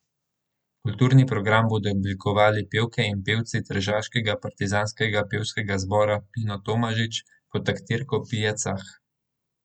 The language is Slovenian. Kulturni program bodo oblikovali pevke in pevci Tržaškega partizanskega pevskega zbora Pino Tomažič pod taktirko Pije Cah.